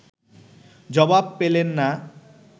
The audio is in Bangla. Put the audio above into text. জবাব পেলেন না